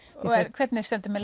hvernig stendur með